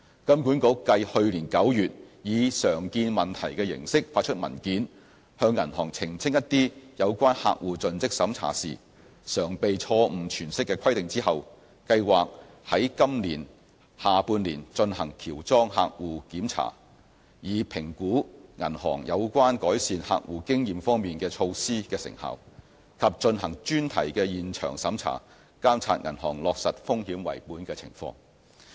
金管局繼去年9月以"常見問題"形式發出文件，向銀行澄清一些有關客戶盡職審查時常被錯誤詮釋的規定後，計劃在今年下半年進行喬裝客戶檢查，以評估銀行有關改善客戶經驗方面的措施的成效，以及進行專題現場審查，監察銀行落實"風險為本"的情況。